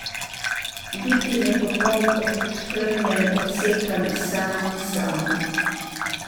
Biti nepopoln, oškrnjen, obsekan, sam, sam.